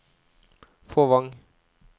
Fåvang